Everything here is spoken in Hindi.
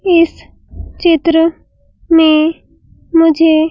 इस चित्र में मुझे --